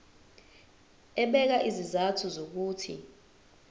ebeka izizathu zokuthi